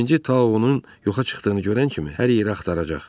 Birinci Tao onu yoxa çıxdığını görən kimi hər yeri axtaracaq.